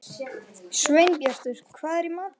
Sveinbjartur, hvað er í matinn?